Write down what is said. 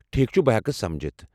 ٹھیٖک چھُ، بہٕ ہٮ۪کہٕ سمجھتھ ۔